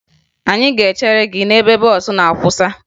Anyị ga-echere gị n'ebe bọọsụ na-akwụsa